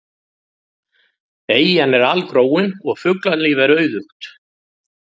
Eyjan er algróin og fuglalíf er auðugt.